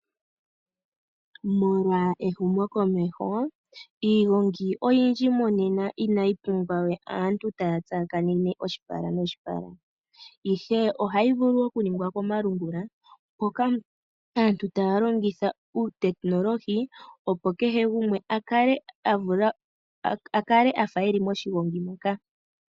Molwa ehumokomeho, iigongi oyindji monena inayi pumbwa we aantu taya tsakanene oshipala noshipala. Ihe ohayi vulu oku ningilwa komalungula hoka aantu taya longitha uutekinolohi opo kehe gumwe a kale a fa e li moshigongi moka.